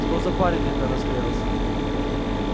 что это парень расклеился